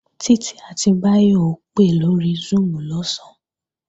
Títí àti Báyọ̀ ó pè lórí Zoom lọ̀sán